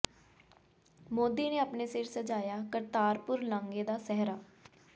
ਮੋਦੀ ਨੇ ਅਪਣੇ ਸਿਰ ਸਜਾਇਆ ਕਰਤਾਰਪੁਰ ਲਾਂਘੇ ਦਾ ਸਿਹਰਾ